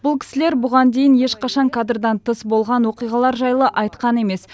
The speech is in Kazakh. бұл кісілер бұған дейін ешқашан кадрдан тыс болған оқиғалар жайлы айтқан емес